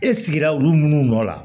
E sigira olu minnu nɔ la